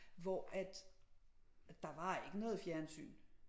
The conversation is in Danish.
Hvor at der var ikke noget fjernsyn